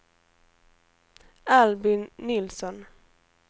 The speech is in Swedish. Albin Nilsson